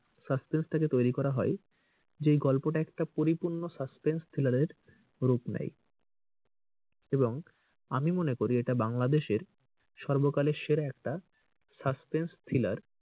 suspence টাকে তৈরী করা হয় যে এই গল্পটা একটা পরিপূর্ণ suspense thriller এর রূপ নেই। এবং আমি মনে করি এটা বাংলাদেশের সর্বকালের সেরা একটা suspense thriller